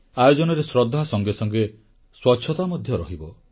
ଆୟୋଜନରେ ଶ୍ରଦ୍ଧା ସଙ୍ଗେ ସଙ୍ଗେ ସ୍ୱଚ୍ଛତା ମଧ୍ୟ ରହିବ